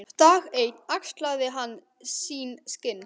Dag einn axlaði hann sín skinn.